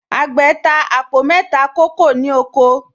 Àgbẹ̀̀ ta àpò mẹ́ta kókò ní oko